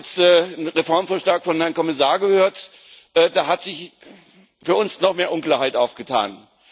Wir haben jetzt einen Reformvorschlag vom Herrn Kommissar gehört. Da hat sich für uns noch mehr Unklarheit aufgetan.